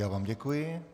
Já vám děkuji.